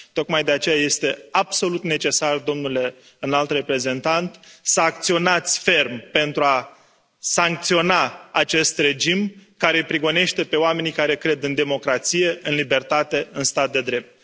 Tocmai de aceea este absolut necesar, domnule Înalt Reprezentant, să acționați ferm pentru a sancționa acest regim care îi prigonește pe oamenii care cred în democrație, în libertate, în stat de drept.